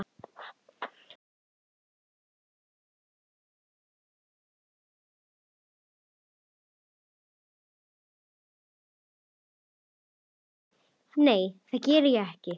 Nei, það geri ég ekki.